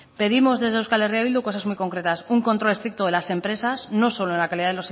pedimos desde eh bildu cosas muy concretas un control estricto de las empresas no solo en la calidad